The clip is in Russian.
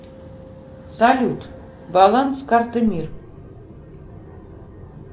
салют баланс карты мир